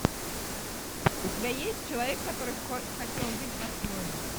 у тебя есть человек который хотел жить по своему